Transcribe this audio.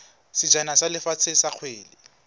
sejana sa lefatshe sa kgwele